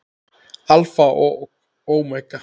Alfa og ómega.